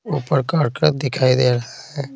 ऊपर car truck दिखाई दे रहा है।